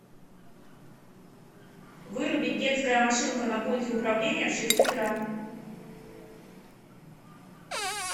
вырубить детская машинка на пульте управления в шесть утра